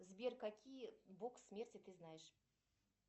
сбер какие бог смерти ты знаешь